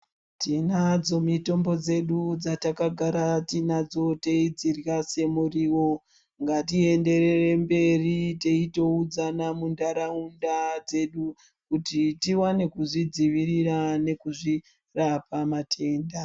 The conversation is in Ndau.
Tinadzo mitombo dzedu dzataka gara tinadzo tei dzirya se muriwo ngati enderere mberi teito udzana mu ndaraunda dzedu kuti tiwane kuzvi dzivirira neku zvirapa matenda.